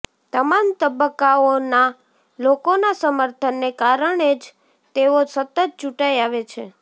તમામ તબક્કાઓના લોકોના સમર્થનને કારણે જ તેઓ સતત ચૂંટાઇ આવે છે